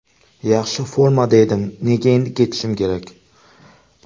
Yaxshi formada edim, nega endi ketishim kerak?